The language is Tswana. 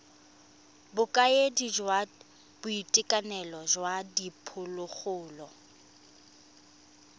bokaedi jwa boitekanelo jwa diphologolo